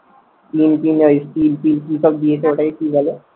ওটাকে কি বলে?